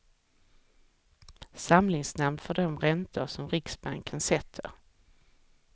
Samlingsnamn för de räntor som riksbanken sätter.